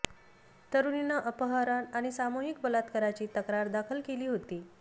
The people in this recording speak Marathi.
तरुणीनं अपहरण आणि सामूहिक बलात्काराची तक्रार दाखल केली होती